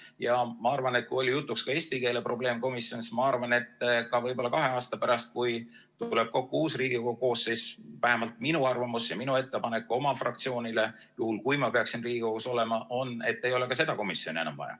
Ja ma arvan, et kui oli jutuks ka eesti keele probleemkomisjon, siis võib-olla kahe aasta pärast, kui tuleb uus Riigikogu koosseis, vähemalt minu arvamus ja minu ettepanek oma fraktsioonile, juhul kui ma peaksin Riigikogus olema, on see, et ei ole ka seda komisjoni enam vaja.